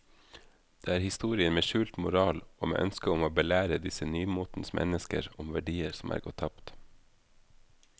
Det er historier med skjult moral og med ønske om å belære disse nymotens mennesker om verdier som er gått tapt.